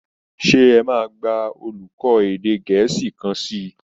Sé ẹ máa gba olùkọ́ èdè Gẹ̀ẹ́sì kan sí í?